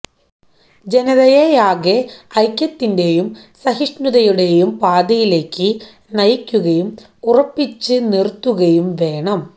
ജനതയെയാകെ ഐക്യത്തിന്റെയും സഹിഷ്ണുതയുടെയും പാതയിലേയ്ക്ക് നയിക്കുകയും ഉറപ്പിച്ചു നിർത്തുകയും വേണം